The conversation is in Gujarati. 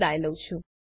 જોડાવા બદ્દલ આભાર